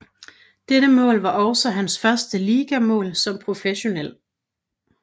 Dette mål var også han første ligamål som professionel